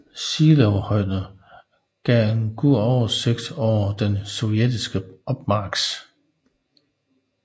Seelowhøjderne gav en god oversigt over den sovjetiske opmarch